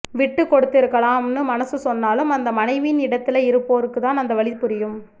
விட்டு கொடுத்திருக்கலாம் னு மனசு சொன்னாலும் அந்த மனைவியின் இடத்தில இருப்போருக்கு தான் அந்த வலி புரியும்